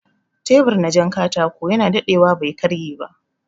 Tebur na jan katako yana daɗewa bai karye ba